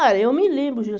Ah, eu me lembro, Ju.